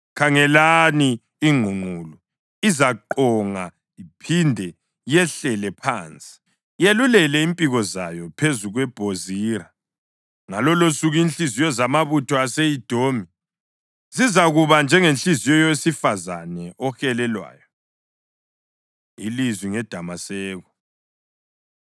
Khangelani! Ingqungqulu izaqonga iphinde yehlele phansi, yelulele impiko zayo phezu kweBhozira. Ngalolosuku inhliziyo zamabutho ase-Edomi zizakuba njengenhliziyo yowesifazane ohelelwayo. Ilizwi NgeDamaseko